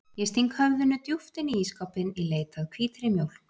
Ég sting höfðinu djúpt inn í ísskápinn í leit að hvítri mjólk.